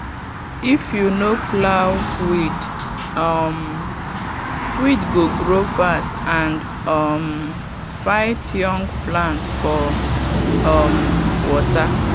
if you no plow weed um weed go grow fast and um fight young plant for um water.